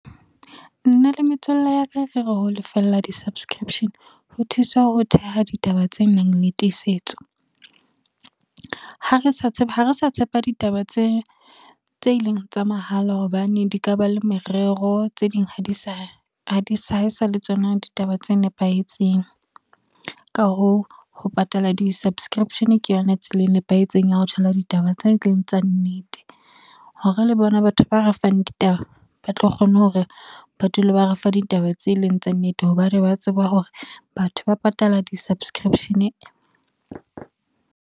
Nna le metswalle ya ka, re re ho lefella di-subscription ho thusa ho theha ditaba tse nang le tiisetso. Ha re sa tshepa ditaba tse e leng tsa mahala hobane, di ka ba le merero tse ding ha e sa le tsona ditaba tse nepahetseng. Ka hoo ho patala di-subscription ke yona tsela e nepahetseng ya ho thola ditaba tse e leng tsa nnete, hore re le bona batho ba re fang ditaba ba tlo kgone hore ba dule ba re fa ditaba tse leng tsa nnete, hobane ba tseba hore batho ba patala di-subscription.